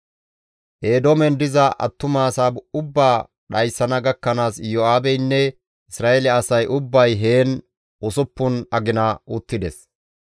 Eedoomen diza attumasa ubbaa dhayssana gakkanaas Iyo7aabeynne Isra7eele asay ubbay heen usuppun agina uttides.